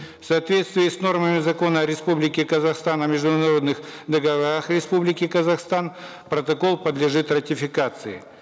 в соответствии с нормами закона республики казахстан о международных договорах республики казахстан протокол подлежит ратификации